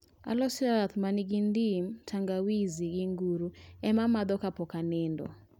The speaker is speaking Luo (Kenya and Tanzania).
Aloso yath ma ni gi ndim, tangawizi, gi nguru ema amadho kapok anindo